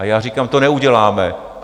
A já říkám, to neuděláme.